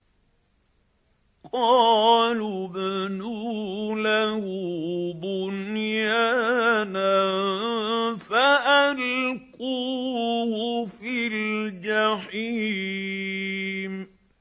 قَالُوا ابْنُوا لَهُ بُنْيَانًا فَأَلْقُوهُ فِي الْجَحِيمِ